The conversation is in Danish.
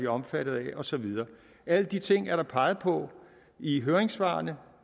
omfattet af og så videre alle de ting er der peget på i høringssvarene